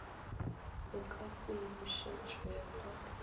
o ka se e bušetšwego